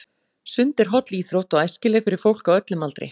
Sund er holl íþrótt og æskileg fyrir fólk á öllum aldri.